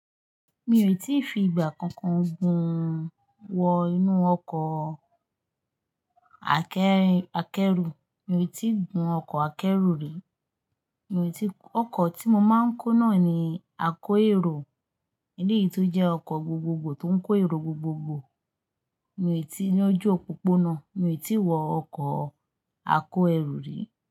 Mi ò tí ì fi ìgbà kankan gún wọ inú ọkọ̀ akẹ́rù, mi ò tí ì gún ọkọ̀ akẹ́rù rí. Mi ò tí-- ọkọ̀ tí mo máa ń kó náà ni a kó èrò, eleyí tó jẹ́ ọkọ̀ gbogbogbò tó ń kó èrò gbogbogbò. Mi ò tí-- ní ojú òpópónà, mi ò tí ì wọ ọkọ̀ a kó ẹrù rí.